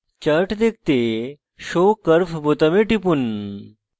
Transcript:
chart দেখতে show curve বোতামে টিপুন